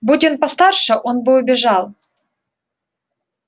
будь он постарше он бы убежал